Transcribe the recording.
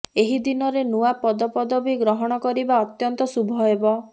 ଏହି ଦିନରେ ନୂଆ ପଦପଦବୀ ଗ୍ରହଣ କରିବା ଅତ୍ୟନ୍ତ ଶୁଭ ହେବ